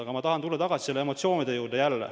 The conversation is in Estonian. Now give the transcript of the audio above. Aga ma tahan tulla tagasi nende emotsioonide juurde.